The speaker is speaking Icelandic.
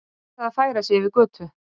Neitaði að færa sig yfir götu